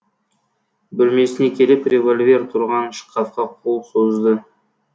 бөлмесіне келіп револьвер тұрған шкафқа қол созды